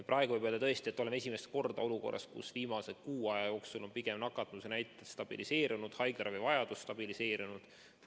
Praegu võib öelda tõesti, et oleme esimest korda olukorras, kus viimase kuu aja jooksul on nakatumisnäitajad pigem stabiliseerunud, haiglaravivajadus stabiliseerunud.